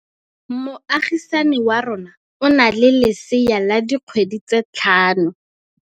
Moagisane wa rona o na le lesea la dikgwedi tse tlhano.